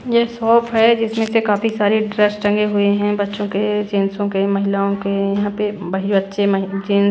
ये शॉप है जिसमें से काफी सारे ड्रेस टंगे हुए हैं बच्चों के जेंसों के महिलाओं के यहां पे बच्चे जेन--